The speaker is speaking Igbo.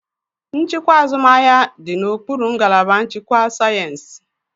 Nchịkwa azụmahịa dị n'okpuru ngalaba nchịkwa sayensị.